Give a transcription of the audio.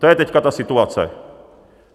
To je teď ta situace.